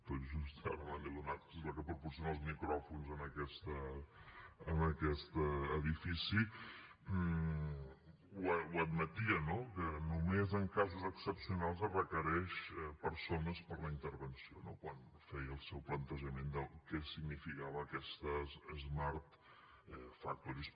tot just ara me n’he adonat és la que proporciona els micròfons en aquest edifici ho admetia no que només en casos excepcionals es requereixen persones per la intervenció no quan feia el seu plantejament de què significaven aquestes smart factories